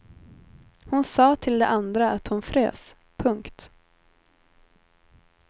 Hon sa till de andra att hon frös. punkt